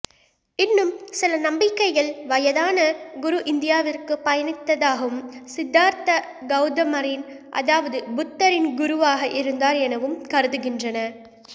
இன்னும் சில நம்பிக்கைகள் வயதான குரு இந்தியாவிற்குப் பயணித்ததாகவும் சித்தார்த்த கௌதமரின் அதாவது புத்தரின் குருவாக இருந்தார் எனவும் கருதுகின்றன